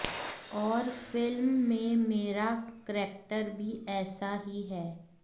और फिल्म में मेरा करेक्टर भी ऐसा ही है